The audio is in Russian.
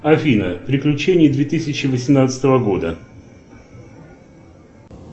афина приключения две тысячи восемнадцатого года